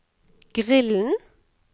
grillen